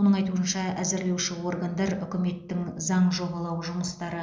оның айтуынша әзірлеуші органдар үкіметтің заң жобалау жұмыстары